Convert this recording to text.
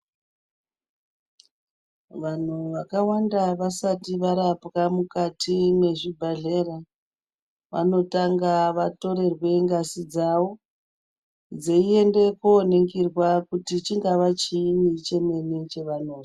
Vanhu vakawanda vasati varapwa mukati mwezvibhadhera, vanotanga vatorerwe ngazi dzavo, dzeiende kooningirwa kuti chingava chiini chemene chevanozwa.